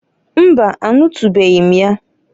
Mbaǃ Anụtụnụbeghị m ya.